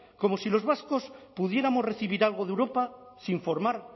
como si los vascos pudiéramos recibir algo de europa sin formar